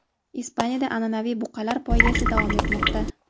Ispaniyada an’anaviy buqalar poygasi davom etmoqda.